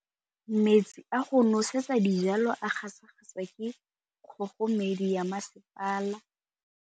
Metsi a go nosetsa dijalo a gasa gasa ke kgogomedi ya masepala.